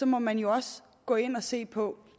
må man jo også gå ind og se på